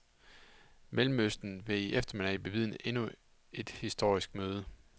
Mellemøsten vil i eftermiddag bevidne endnu et historisk møde.